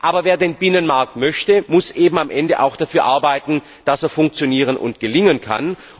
Aber wer den Binnenmarkt möchte, muss eben am Ende auch dafür arbeiten, dass er funktionieren und gelingen kann.